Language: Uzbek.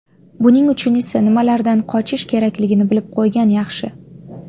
Buning uchun esa nimalardan qochish kerakligini bilib qo‘ygan yaxshi.